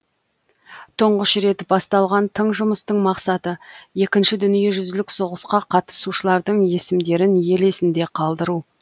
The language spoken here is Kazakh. тұңғыш рет басталған тың жұмыстың мақсаты екінші дүниежүзілік соғысқа қатысушылардың есімдерін ел есінде қалдыру